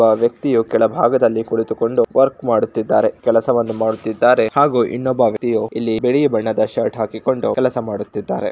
ಒಬ್ಬ ವ್ಯಕ್ತಿಯು ಕೆಳಭಾಗದಲ್ಲಿ ಕುಳಿತುಕೊಂಡು ವರ್ಕ್ ಮಾಡುತ್ತಿದ್ದಾರೆ ಕೆಲಸವನ್ನು ಮಾಡುತ್ತಿದ್ದಾರೆ ಹಾಗೂ ಇನ್ನೊಬ್ಬ ವ್ಯಕ್ತಿಯು ಇಲ್ಲಿ ಬಿಳಿ ಬಣ್ಣದ ಶರ್ಟ್ ಹಾಕಿಕೊಂಡು ಕೆಲಸ ಮಾಡುತ್ತಿದ್ದಾನೆ.